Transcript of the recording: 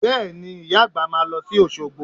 Bẹ́ẹ̀ni, Ìyá àgbà máa lọ sí Òṣogbo